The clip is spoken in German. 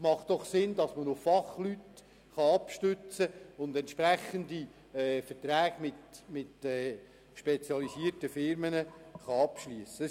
Es macht doch Sinn, dass man sich auf Fachleute abstützen und entsprechende Verträge mit spezialisierten Firmen abschliessen kann.